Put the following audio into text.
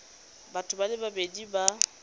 batho ba le babedi ba